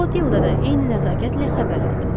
Klotilda da eyni nəzakətlə xəbər aldı.